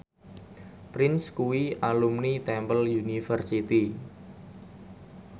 Prince kuwi alumni Temple University